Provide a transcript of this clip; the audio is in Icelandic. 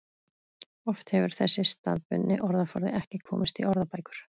Oft hefur þessi staðbundni orðaforði ekki komist í orðabækur.